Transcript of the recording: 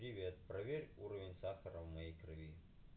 привет проверь уровень сахара в моей крови